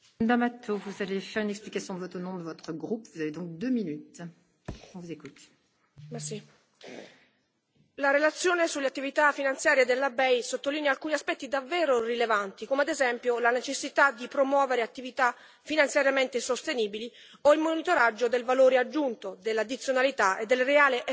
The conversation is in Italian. Signora Presidente, onorevoli colleghi, la relazione sulle attività finanziarie della BEI sottolinea alcuni aspetti davvero rilevanti, come ad esempio la necessità di promuovere attività finanziariamente sostenibili o il monitoraggio del valore aggiunto, dell'addizionalità e del reale effetto leva ottenuto con i finanziamenti della BEI.